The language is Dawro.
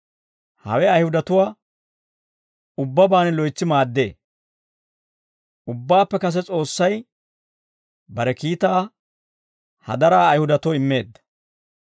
Hawe Ayihudatuwaa ubbabaan loytsi maaddee; ubbabaappe kase S'oossay bare kiitaa hadaraa Ayihudatoo immeedda.